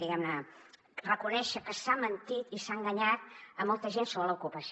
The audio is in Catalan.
diguemne reconèixer que s’ha mentit i s’ha enganyat molta gent sobre l’ocupació